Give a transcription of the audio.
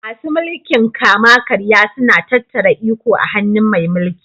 Masu mulkin kama karya suna tattara Iko a hannun mai mulƙi